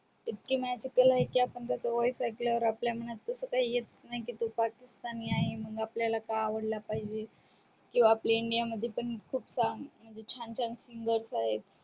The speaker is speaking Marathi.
इतक आहे कि आपण त्याच voice ऐकल्या वर आपल्या मनात तस काही येत नाही की तो पाकिस्तानी आहे मग आपल्याला का आवडला पाहिजे किंवा आपल्या india मध्ये पण खूप songs म्हणजे छान छान singers आहेत